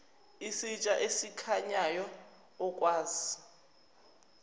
isitsha esikhanyayo okwazi